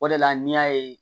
O de la n'i y'a ye